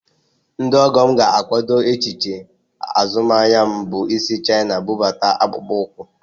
Ndị ọgọ m ga-akwado echiche azụmaahịa m bụ isi Chaina bụbata akpụkpọ ụkwụ